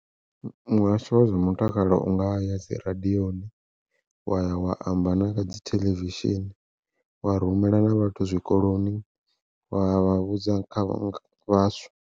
Muhasho wa zwa mutakalo unga ya dzi radioni, wa ya wa amba na kha dzi theḽevishini wa rumela na vhathu zwikoloni vha ya vha vhudza kha nga vhaswa.